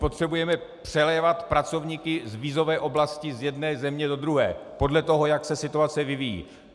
Potřebujeme přelévat pracovníky z vízové oblasti z jedné země do druhé podle toho, jak se situace vyvíjí.